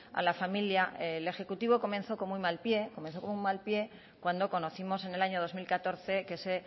a la familia el ejecutivo comenzó con muy mal pie cuando conocimos en el dos mil catorce que se